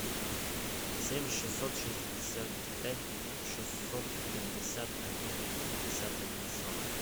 семь шестьсот шестьдесят пять шестьсот пятьдесят один пятьдесят один сорок